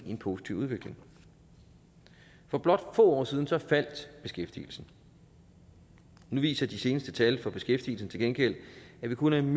positiv udvikling for blot få år siden faldt beskæftigelsen nu viser de seneste tal for beskæftigelsen til gengæld at vi kun er en